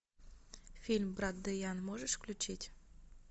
фильм брат дэян можешь включить